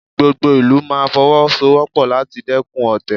Gbogbo ìlú máa Fọwọ́sowọ́pọ̀ láti dẹ́kun ọ̀tẹ̀